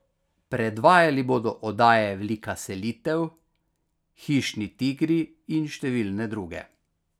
Predvajali bodo oddaje Velika selitev, Hišni tigri in številne druge!